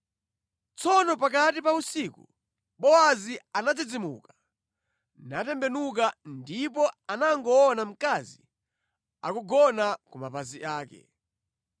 Tsono pakati pa usiku Bowazi anadzidzimuka, natembenuka, ndipo anangoona mkazi akugona ku mapazi ake.